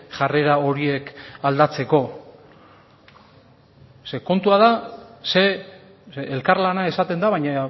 jarrera horiek aldatzeko zeren kontua da elkarlana esaten da baina